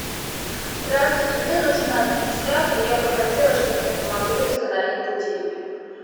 здравствуйте мне нужен администратор я бы хотела чтобы мне помогли установить будильник